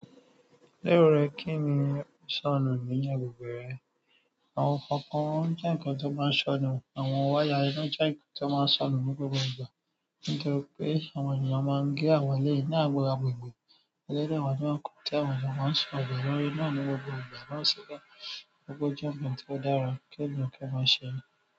Lérò rẹ kí ni o sọnù ní agbègbè rẹ? Àwọn kọ̀ọ̀kan jẹ́ nǹkan tó máa ń sọnù, àwọn wáyà iná jẹ́ nǹkan tó máa ń sọnù ní gbogbo ìgbà. Nítorí pé àwọn ènìyàn máa ń gé àwọn eléyìí ní àwọn àgbègbè, eléré àwọn nǹkan tí àwọn ènìyàn máa ń sọnù lórí náà ní gbogbo ìgbà máa ń ṣiṣẹ́. Ògo jẹ́ nǹkan tó dára, kẹ́dùn kí ẹ máa ṣẹ́.